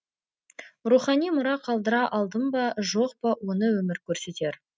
рухани мұра қалдыра алдым ба жоқ па оны өмір көрсетер